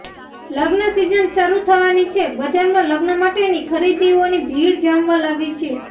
લગ્ન સિઝન શરૂ થવાની છે બજારમાં લગ્ન માટેની ખરીદીઓની ભીડ જામવા લાગી છે